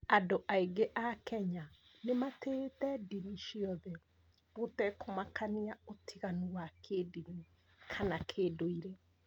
Andũ aingĩ a kenya nĩ matĩĩte ndini ciothe, gũtekũmakania ũtiganu wa kĩndini kana kĩndũire.